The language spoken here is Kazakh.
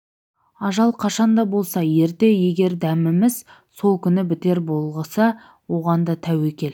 ажал қашан да болса ерте егер дәміміз сол күні бітер болса оған да тәуекел